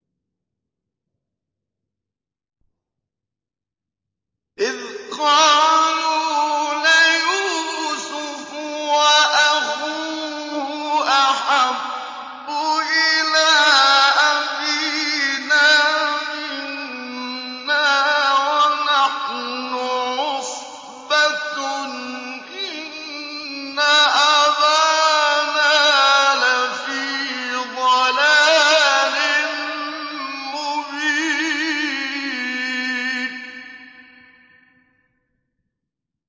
إِذْ قَالُوا لَيُوسُفُ وَأَخُوهُ أَحَبُّ إِلَىٰ أَبِينَا مِنَّا وَنَحْنُ عُصْبَةٌ إِنَّ أَبَانَا لَفِي ضَلَالٍ مُّبِينٍ